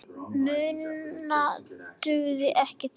Minna dugði ekki til.